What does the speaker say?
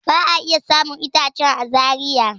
A'a, ba'a iya samun itacen a Zaria.